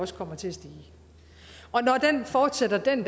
også kommer til at stige og når den fortsætter den